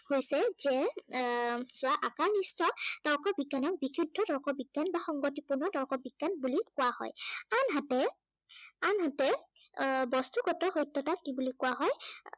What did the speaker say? হৈছে যে এৰ আকাৰনিষ্ঠ তৰ্ক বিজ্ঞানৰ বিশুদ্ধ তৰ্ক বিজ্ঞান বা সংগঠিত বা তৰ্ক বিজ্ঞান বুলি কোৱা হয়। আনহাতে, আনহাতে, এৰ বস্তুগত সত্য়তাক কি বুলি কোৱা হয়